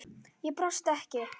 Ég brosti ekki.